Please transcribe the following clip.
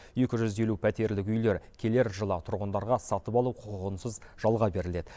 екі жүз елу пәтерлік үйлер келер жылы тұрғындарға сатып алу құқығынсыз жалға беріледі